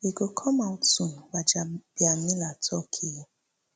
e go come out soon gbajabiamila tok um